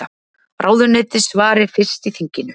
Ráðuneyti svari fyrst í þinginu